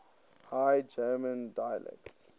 high german dialects